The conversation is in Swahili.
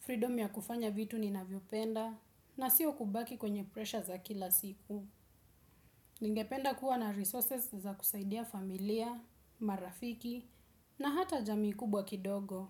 freedom ya kufanya vitu ninavyopenda, na sio kubaki kwenye pressure za kila siku. Ningependa kuwa na resources za kusaidia familia, marafiki na hata jamii kubwa kidogo.